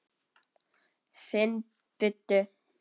Finn buddu.